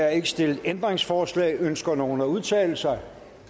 er ikke stillet ændringsforslag ønsker nogen at udtale sig